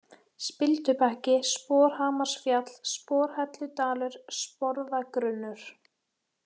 Spildubakki, Sporhamarsfjall, Sporhelludalur, Sporðagrunnur